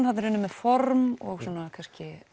þarna er unnið með form og svona kannski